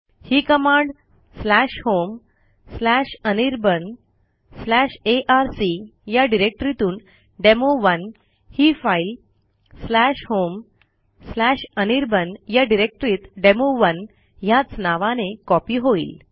ही command homeanirbanarc या डिरेक्टरीतून डेमो1 ही फाईल homeanirban या डिरेक्टरीत डेमो1 ह्याच नावाने कॉपी होईल